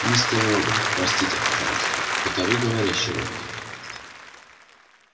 мистер робот простите пожалуйста это вы говорящий робот